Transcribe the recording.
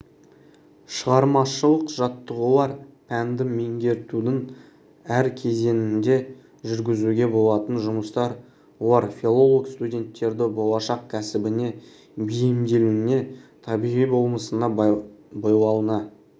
шығармашылық жаттығулар пәнді меңгертудің әр кезеңінде жүргізуге болатын жұмыстар олар филолог-студенттерді болашақ кәсібіне бейімделуіне табиғи болмысына бойлауына